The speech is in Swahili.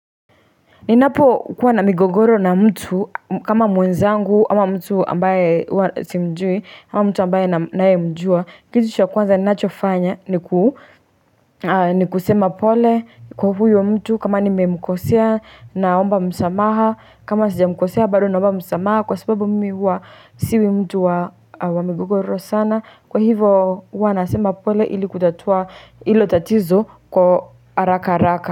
Ninapo kuwa na migogoro na mtu kama mwenzangu hama mtu ambaye simjui ama mtu ambaye naye mjua kitu cha kwanza ninachofanya ni kusema pole kwa huyo wa mtu kama nimemkosea naomba msamaha kama sijamkosea bado naomba msamaha kwa sababu mimi huwa siwi mtu wa migogoro sana kwa hivo huwa nasema pole ili kutatua ilo tatizo kwa haraka haraka.